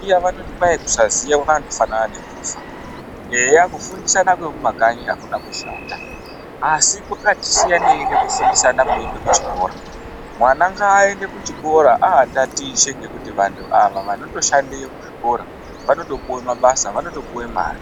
Iya vanoti kwayi kusaziya kwakandofana nekufa, eya kufundisana kwemumakanyi akuna kushata asi kwakatisiyaneyi nekufundisana kunoitwe kuchikora mwana ngaaende kuchikora aatatiche ngekuti vantu ava vanotoshandeyo kuzvikora vanotopuwe mabasa vanotopuwe mare.